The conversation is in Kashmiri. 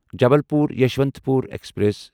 جبلپور یشونتپور ایکسپریس